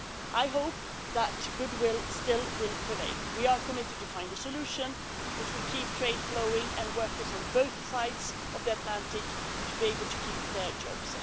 I hope that goodwill will still prevail. We are committed to finding a solution which will keep trade flowing and for workers on both sides of the Atlantic to be able to keep their jobs.